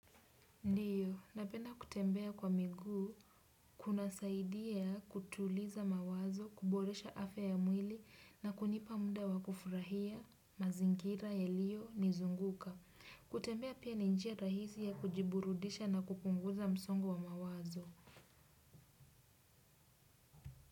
Ndiyo, napenda kutembea kwa miguu, kunasaidia kutuliza mawazo, kuboresha afya ya mwili na kunipa muda wa kufurahia mazingira yaliyonizunguka. Kutembea pia ni njia rahisi ya kujiburudisha na kupunguza msongo wa mawazo.